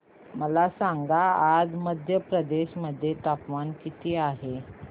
मला सांगा आज मध्य प्रदेश मध्ये तापमान किती आहे